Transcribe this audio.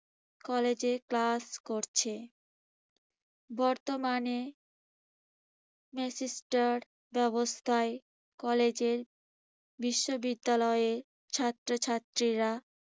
কলেজে class করছে। বর্তমানে semester ব্যবস্থায় কলেজের বিশ্ববিদ্যালয়ে ছাত্রছাত্রীরা